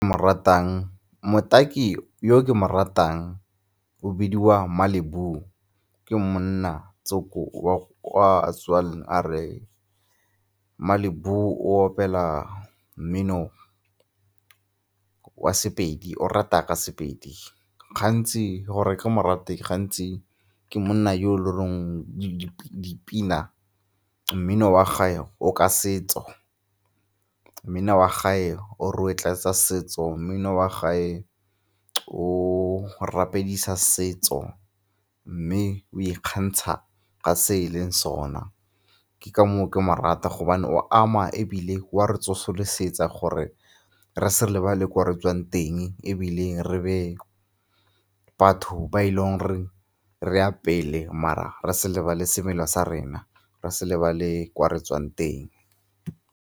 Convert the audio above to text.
Mo ratang, motaki yo ke mo ratang o bidiwa Malibu. Ke monna tsomo wa kwa tswang a re. Malibu o opela mmino wa sePedi, o reta ka sePedi. Gantsi gore ke mo rate gantsi ke monna yo e leng dipina, mmino wa gae o ka setso, mmino wa gae o rotloetsa setso, mmino wa gae o rapedisa setso mme o ikgantsha ka se e leng sona. Ke ka moo ke mo rata gobane o ama ebile o a re tsosolosetsa gore re sa lebale ko re tswang teng ebile re be batho ba e leng re a pele mara re se lebale semelo sa rena, re se lebale ko re tswang teng.